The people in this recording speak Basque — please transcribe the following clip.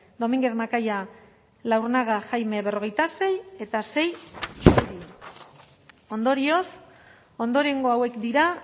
dominguez macaya laurnaga jaime berrogeita seigarrena eta sei zuri ondorioz ondorengo hauek dira